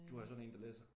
Du er sådan en der læser?